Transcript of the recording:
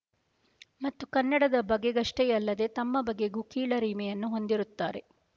ಮತ್ತು ಕನ್ನಡದ ಬಗೆಗಷ್ಟೇ ಯಲ್ಲದೇ ತಮ್ಮ ಬಗೆಗೂ ಕೀಳರಿಮೆಯನ್ನು ಹೊಂದಿರುತ್ತಾರೆ